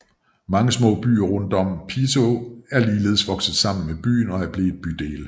Mange små byer rundt om Piteå er ligeledes vokset sammen med byen og er blevet bydele